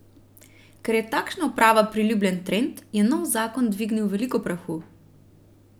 Ker je takšna oprava priljubljen trend, je nov zakon dvignil veliko prahu.